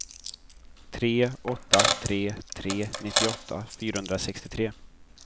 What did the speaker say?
tre åtta tre tre nittioåtta fyrahundrasextiotre